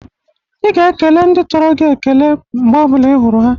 Ị ga-ekele ndị̣ toro gi ekele mgbe ọ bụ̣la ị hụrụ ha!